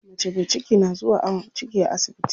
Mace me ciki na zuwa awon ciki a asibiti.